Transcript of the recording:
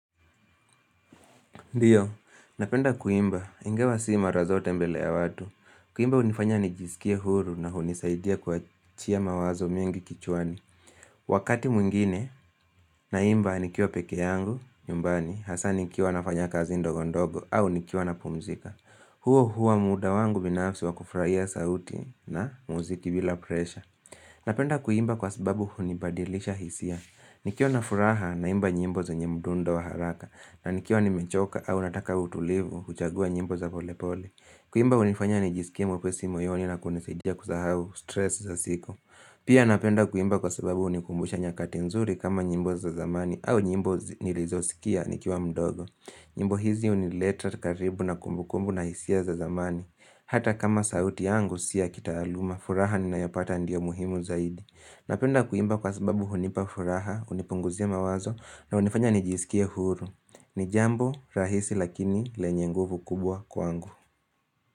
Ndiyo, napenda kuimba. Ingawa si marazote mbele ya watu. Kuimba hunifanya nijiskie huru na hunisaidia kuachia mawazo mengi kichwani. Wakati mwingine, naimba nikiwa pekee yangu, nyumbani, hasa nikiwa nafanya kazi ndogo ndogo au nikiwa napumzika. Huo huwa muda wangu binafsi wa kufurahia sauti na muziki bila pressure. Napenda kuimba kwa sababu hunibadilisha hisia. Nikiwa na furaha na imba nyimbo zenye mdundo wa haraka na nikiwa nimechoka au nataka utulivu huchagua nyimbo za pole pole. Kuimba hunifanya nijisikie mwepesi moyoni na kunisaidia kusahau stress za siku. Pia napenda kuimba kwa sababu hunikumbusha nyakati nzuri kama nyimbo za zamani au nyimbo nilizosikia nikiwa mdogo. Nyimbo hizi hunileta karibu na kumbukumbu na hisia za zamani. Hata kama sauti yangu si ya kitaaluma, furaha ninayopata ndiyo muhimu zaidi. Napenda kuimba kwa sababu hunipa furaha, hunipunguzia mawazo na hunifanya nijisikie huru. Ni jambo rahisi lakini lenye nguvu kubwa kwangu.